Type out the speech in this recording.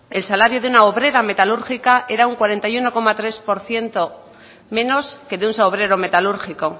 el salario de una obrera metalúrgica era un cuarenta y uno coma tres por ciento menos que de un obrero metalúrgico